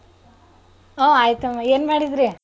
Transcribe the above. ಹಾ ಆಯ್ತಮ್ಮ ಏನ್ ಮಾಡಿದ್ರಿ?